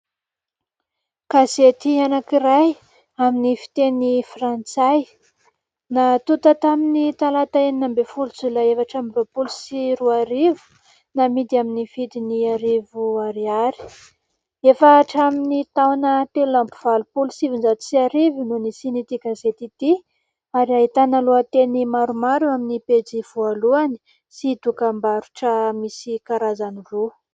Gazety anankiray amin'ny fiteny frantsay: natonta tamin'ny talata enina ambin' ny folo jolay efatra amby roapolo sy roa arivo, namidy amin'ny vidiny arivo ariary, efa hatramin' ny taona telo amby valopolo sy sivinjato sy arivo no nisiany ity gazety ity ary ahitana lohateny maromaro amin'ny pejy voalohany sy dokam-barotra misy karazany roa.